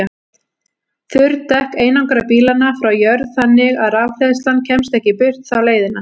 Þurr dekk einangra bílana frá jörð þannig að rafhleðslan kemst ekki burt þá leiðina.